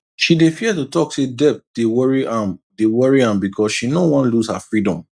she dey fear to talk say debt dey worry am dey worry am because she no wan lose her freedom